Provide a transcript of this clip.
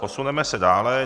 Posuneme se dále.